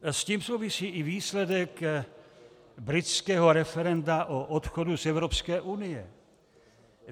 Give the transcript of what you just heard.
S tím souvisí i výsledek britského referenda o odchodu z Evropské unie.